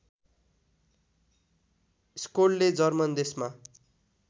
स्कोल्डले German देशमा